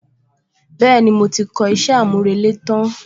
Bẹ́ẹ̀ni, mo ti kọ iṣẹ́ àmúrelé tán